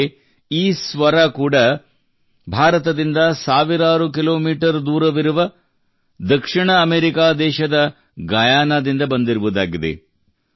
ಆದರೆ ಈ ಸ್ವರ ಕೂಡಾ ಭಾರತದಿಂದ ಸಾವಿರಾರು ಕಿಲೋಮೀಟರ್ ದೂರವಿರುವ ದಕ್ಷಿಣ ಅಮೆರಿಕಾ ದೇಶದ ಗಯಾನದಿಂದ ಬಂದಿರುವುದಾಗಿದೆ